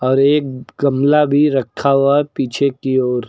एक गमला भी रखा हुआ है पीछे की ओर।